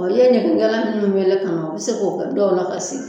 O ye ɲɛgɛkɛla ninnu wele ka na u bɛ se k'o kɛ dɔw la ka segi